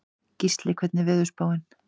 Gísley, hvernig er veðurspáin?